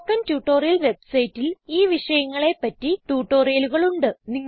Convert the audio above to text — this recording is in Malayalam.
സ്പോക്കൺ ട്യൂട്ടോറിയൽ വെബ്സൈറ്റിൽ ഈ വിഷയങ്ങളെ പറ്റി ട്യൂട്ടോറിയലുകൾ ഉണ്ട്